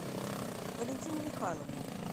валентину михайловну